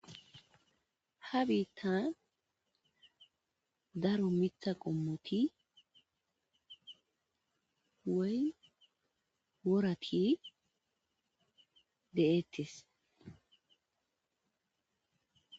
ha biittan daro mitha qommoti wey worati de7eettis